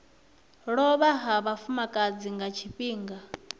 lovha ha vhafumakadzi nga tshifhinga